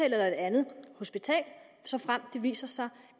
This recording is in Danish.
et andet hospital såfremt det viser sig